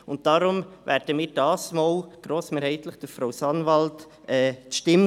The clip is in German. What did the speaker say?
Deshalb werden wir die Stimme diesmal grossmehrheitlich Frau Sanwald geben.